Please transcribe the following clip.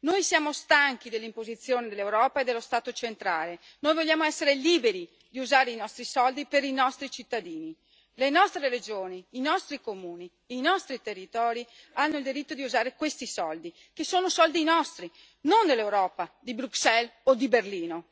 Noi siamo stanchi dell'imposizione dell'Europa e dello Stato centrale noi vogliamo essere liberi di usare i nostri soldi per i nostri cittadini. Le nostre regioni, i nostri comuni, i nostri territori hanno il diritto di usare questi soldi che sono soldi nostri, non dell'Europa, di Bruxelles o di Berlino.